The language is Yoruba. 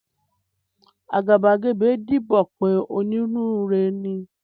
Àgàbàgebè ń díbọ́n pé onínúure ni.